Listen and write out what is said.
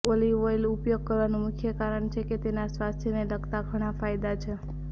olive oil ઉપયોગ કરવાનું મુખ્ય કારણ છે કે તેના સ્વાસ્થ્યને લગતા ઘણા ફાયદા છે